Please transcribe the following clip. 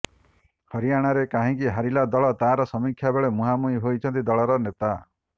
ହରିୟାଣାରେ କାହିଁକି ହାରିଲା ଦଳ ତାର ସମୀକ୍ଷା ବେଳେ ମୁହାଁମୁହିଁ ହୋଇଛନ୍ତି ଦଳର ନେତା